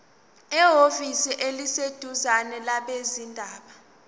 ehhovisi eliseduzane labezindaba